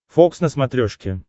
фокс на смотрешке